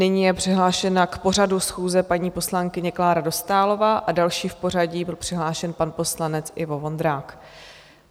Nyní je přihlášena k pořadu schůze paní poslankyně Klára Dostálová a další v pořadí byl přihlášen pan poslanec Ivo Vondrák.